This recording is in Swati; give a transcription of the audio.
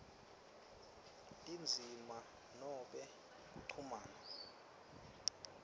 tindzima noma kuchumana